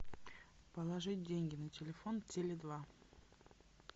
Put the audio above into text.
положить деньги на телефон теле два